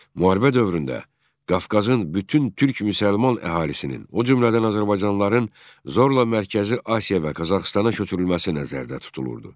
Müharibə dövründə Qafqazın bütün Türk müsəlman əhalisinin, o cümlədən azərbaycanlıların zorla Mərkəzi Asiya və Qazaxıstana köçürülməsi nəzərdə tutulurdu.